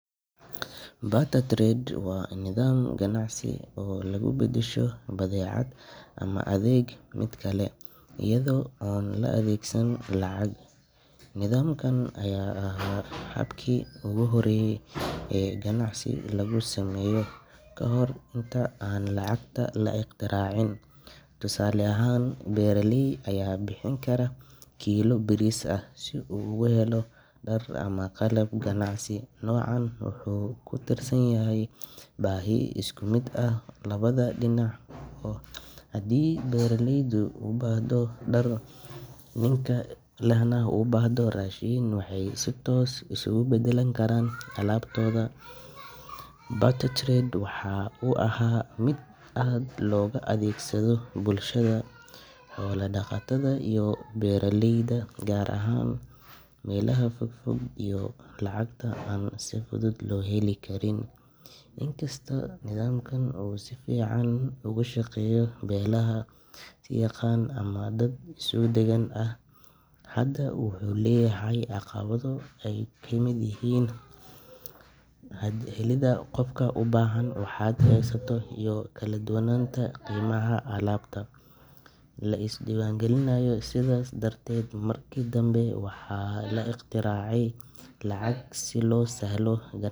Barter trade waa nidaam ganacsi oo lagu beddesho badeecad ama adeeg mid kale, iyada oo aan la adeegsan lacag. Nidaamkan ayaa ahaa habkii ugu horreeyay ee ganacsi lagu sameeyo ka hor inta aan lacagta la ikhtiraacin. Tusaale ahaan, beeraley ayaa bixin kara kiilo bariis ah si uu ugu helo dhar ama qalab. Ganacsiga noocan ah wuxuu ku tiirsan yahay baahi isku mid ah oo labada dhinac ah. Haddii beeraleygu u baahdo dhar, ninka dharka lehna u baahdo raashin, waxay si toos ah isugu beddeli karaan alaabtooda. Barter trade waxa uu ahaa mid aad loogu adeegsado bulshada xoolo-dhaqatada ah iyo beeraleyda, gaar ahaan meelaha fog fog ee lacagta aan si fudud loo heli karin. Inkasta oo nidaamkan uu si fiican uga shaqeeyo beelaha is yaqaan ama dad isku deegaan ah, haddana wuxuu leeyahay caqabado ay ka mid yihiin helidda qof u baahan waxa aad haysato, iyo kala duwanaanta qiimaha alaabta la isweydaarsanayo. Sidaas darteed, markii dambe waxaa la ikhtiraacay lacag si loo sahlo.